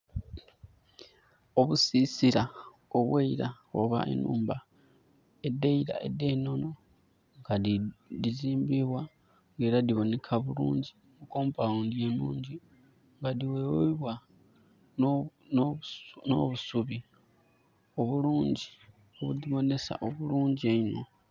Obusisira obweira obwe nhumba edeira ede nono nga dizimbibwa era nga diboneka bulungi, compoundi nungi nga diweweibwa no busubi obulungi obudi bonesa obulungi einho